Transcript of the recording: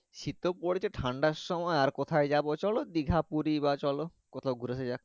শীত তো পড়ছে ঠান্ডার সময় আর কোথায় যাবো তো চলো দীঘা পুরি বা চলো কোথাও ঘুরে আসা যাক